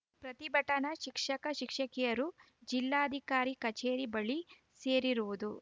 ಪ್ರತಿಭಟನಾ ಶಿಕ್ಷಕ ಶಿಕ್ಷಕಿಯರು ಜಿಲ್ಲಾಧಿಕಾರಿ ಕಚೇರಿ ಬಳಿ ಸೇರಿರುವುದು